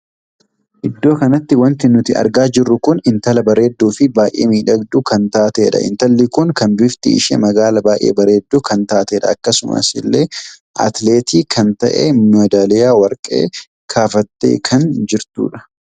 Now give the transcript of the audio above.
Iddoo kanatti wanti nuti argaa jirru kun intala bareedduu fi intala baay'ee miidhagduu kan taateedha. intalli kun kan bifti ishee magaala baay'ee bareedduu kan taateedha. akkasuma illee atileetii kan tahee madaaliyaa warqee kaafatee kan jirtudha.